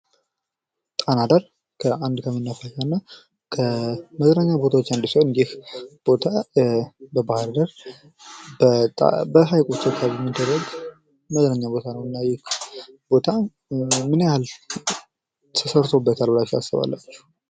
ጣና ዳር ከመናፈሻ እና መዝናኛ ቦታዎች ዉስጥ አንዱ ሲሆን ይህ ቦታ በሃይቆች አካባቢ የሚደረግ የመዝናኛ ቦታ ነው እና ይህ ቦታ ምን ያህል ተሰርቶበታል ብላችቹ ታስባላችሁ?